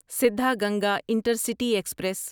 Siddhaganga intercity express